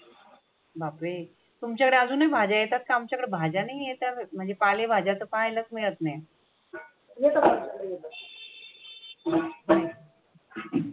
बाप्रे! तुमच्याकडे अजूनही भाझ्या येतात का? आमच्याकडे भाज्या नाही येत्या म्हणजे पालेभाज्या तर पाहायलाच मिळत नाही.